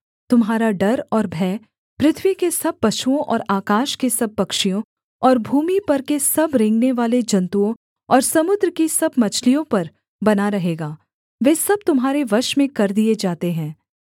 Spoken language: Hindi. तुम्हारा डर और भय पृथ्वी के सब पशुओं और आकाश के सब पक्षियों और भूमि पर के सब रेंगनेवाले जन्तुओं और समुद्र की सब मछलियों पर बना रहेगा वे सब तुम्हारे वश में कर दिए जाते हैं